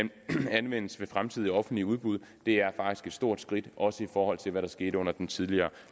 anvendes ved fremtidige offentlige udbud det er faktisk et stort skridt også i forhold til hvad der skete under den tidligere